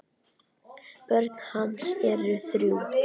Börn hans eru þrjú.